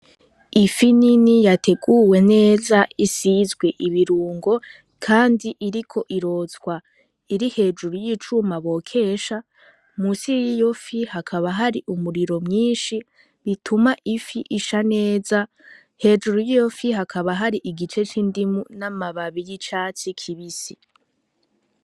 Ifi nini yateguwe neza isizwe ibirungo, kandi iriko irotwa iri hejuru y'icuma bokesha musi y'iyo fi hakaba hari umuriro myinshi bituma ifi isha neza hejuru y'iyo fi hakaba hari igice c'indimu n'amababi y'icatsi kibisi.